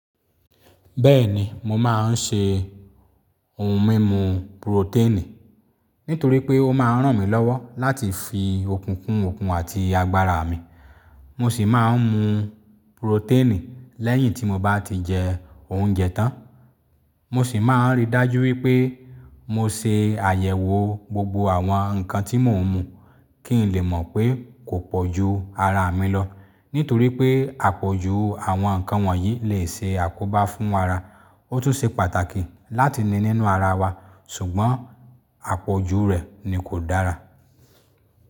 Bẹ́ẹ̀ni mo máa ń ṣe ohun mímu purotẹ́ẹ̀nì nítorí pé ó máa ń ràn mí lọ́wọ́ láti fi òkun kun okun àti agbára mi. Mo sì máa ń mu purotẹ́ẹ̀nì lẹ́yìn tí mo bá ti jẹ oúnjẹ tán. Mo sì máa ń ríi dájú wípé mo ṣe àyẹ̀wò gbogbo àwọn nǹkan tí mò ń mu kí n lè mọ̀ pé kò pọ̀ ju ara mi lọ nítorí pé àpọ̀jù àwọn nǹkan wọ̀nyí lè ṣe àkóbá fún ara. Ó tún ṣe pàtàkì láti ní nínú ara wa ṣùgbọ́n àpọ̀jù rẹ̀ ni kò dára.